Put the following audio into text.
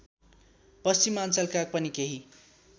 पश्चिमाअञ्चलका पनि केही